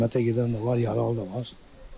Rəhmətə gedən də var, yaralı da var.